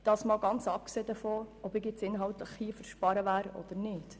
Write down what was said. Dies ganz abgesehen davon, ob ich hier inhaltlich für Einsparungen bin oder nicht.